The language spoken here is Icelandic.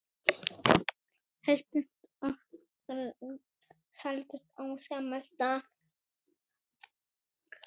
Heitast og kaldast á sama stað